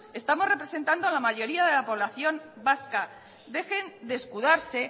estamos representando a la mayoría de la población vasca dejen de escudarse